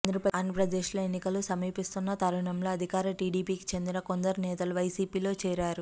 ఆంధ్రప్రదేశ్లో ఎన్నికలు సమీపిస్తున్న తరుణంలో అధికార టీడీపీకి చెందిన కొందరు నేతలు వైసీపీలో చేరారు